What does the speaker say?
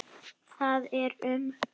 Það er um